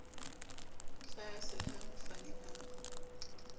tlaase le ha mofani a